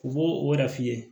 U b'o o yɛrɛ f'i ye